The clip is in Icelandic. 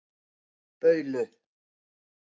Baulu